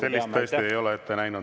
Sellist tõesti ette ei näe.